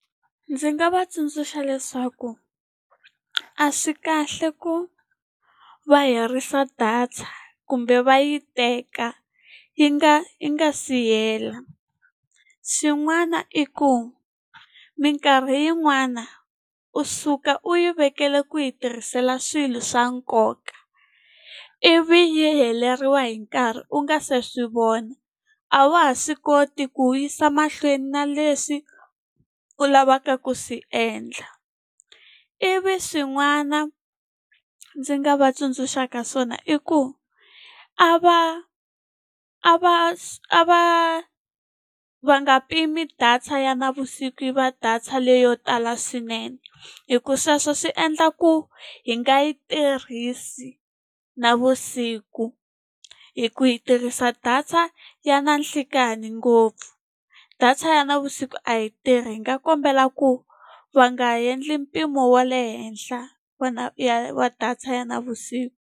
Ndzi nga va tsundzuxa leswaku a swi kahle ku va herisa data kumbe va yi teka, yi nga yi nga si hela. Xin'wana i ku mikarhi yin'wana u suka u yi vekela ku yi tirhisela swilo swa nkoka, ivi yi heleriwa hi nkarhi u nga se swi vona, a wa ha swi koti ku yisa mahlweni na leswi u lavaka ku swi endla. Ivi swin'wana ndzi nga va tsundzuxaka swona i ku, a va a va a va va nga pimi data ya navusiku yi va data leyo tala swinene. Hikuva sweswo swi endla ku hi nga yi tirhisi navusiku, hikuva hi tirhisa data ya nanhlikani ngopfu. Data ya navusiku a yi tirhi, hi nga kombela ku va nga endli mpimo wa le henhla wa ya wa data ya navusiku.